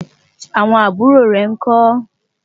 àwọn àbúrò rè nkó?